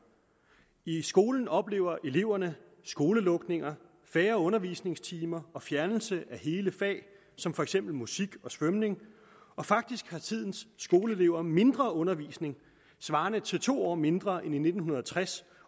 i skolen oplever eleverne skolelukninger færre undervisningstimer og fjernelse af hele fag som for eksempel musik og svømning faktisk har tidens skoleelever mindre undervisning svarende til to år mindre end i nitten tres